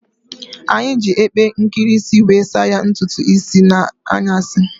Anyi ji epe nkirisi wee saa ya ntutu isii n'anyasi